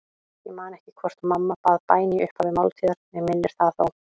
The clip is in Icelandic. Ég man ekki hvort mamma bað bæn í upphafi máltíðar, mig minnir það þó.